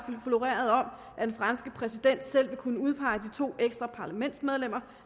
floreret om at den franske præsident selv kunne udpege de to ekstra parlamentsmedlemmer